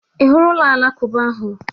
I hụrụ ụlọ alakụba ahụ?